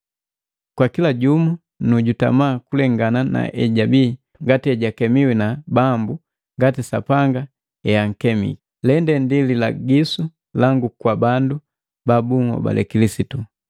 Kwa kila jumu nu jutama kulengana naejabii ngati ejakemiwi na Bambu, ngati Sapanga eakemiki. Lende ndi lilagisu langu kwa bandu babuhobale Kilisitu.